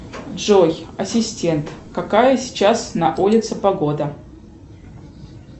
джой ассистент какая сейчас на улице погода